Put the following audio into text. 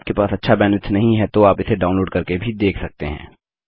यदि आपके पास अच्छा बैंडविड्थ नहीं है तो आप इसे डाउनलोड़ करके भी देख सकते हैं